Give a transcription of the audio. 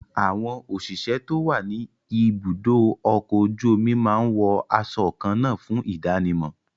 Àwọn òṣìṣẹ́ tó wà ní ibùdó ọkọ̀ ojú omi máa ń wo aṣọ kan náà fún ìdánimọ̀